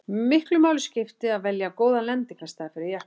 miklu máli skipti að velja góðan lendingarstað fyrir jeppann